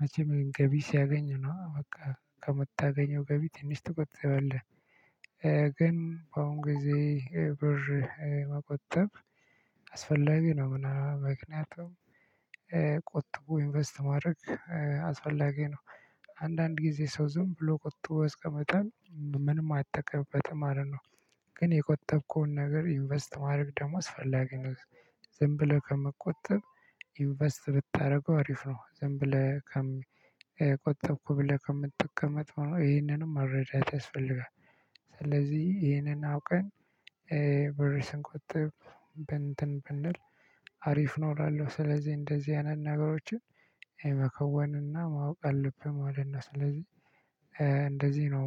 መቼም ገቢ ሲያገኝ ነው በቃ ከምታገኘው ገቢ ትንሽ ትቆጠባለህ። ግን በአሁን ጊዜ ብር መቆጠብ አስፈላጊ ነው። ምና ምክንያቱም ቆጥቦ ኢንቨስት ማድረግ አስፈላጊ ነው። አንዳንድ ጊዜ ሰው ዝም ብሎ ቆጥቦ ያስቀምጣል ምንም አይጠቀምበትም ማለት ነው። ግን የቆጠብከውን ነገር ኢንቨስት ማድረግ ደግሞ አስፈላጊ ነው። ዝም ብለህ ከመቆጠብ ኢንቨስት ብታደርገው አሪፍ ነው። ዝም ብለህ ከም ቆጠብኩ ብለህ ከምትቀመጥ ይሄንንም መረዳት ያስፈልጋል። ስለዚህ ይሄንን አውቀን ብር ስንቆጥብ በእንትን ብንል አሪፍ ነው እላለሁ። ስለዚህ እንደዚህ አይነት ነገሮችን የመከወንና ማወቅ አለብህ ማለት ነው። ስለዚህ እንደዚህ ነው